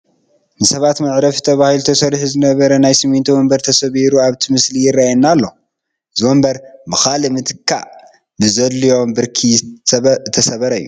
ንሰባት መዕረፊ ተባሂሉ ተሰሪሑ ዝነበረ ናይ ስሚንቶ ወንበር ተሰባቢሩ ኣብቲ ምስሊ ይርአየና ኣሎ፡፡ እዚ ወንበር ብኻልእ ምትካእ ብዘድልዮ ብርኪ ዝተሰበረ እዩ፡፡